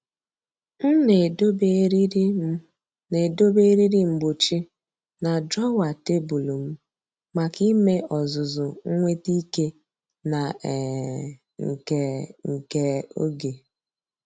M na-edobe eriri M na-edobe eriri mgbochi na drawer tebụl m maka ime ọzụzụ nweta ike na um nke nke oge.